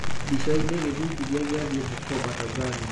mbicaini: gĩthingithia gĩa thĩ Bukoba, Tanzania